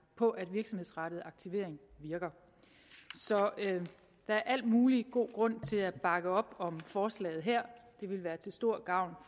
på at virksomhedsrettet aktivering virker så der er al mulig god grund til at bakke op om forslaget her det vil være til stor gavn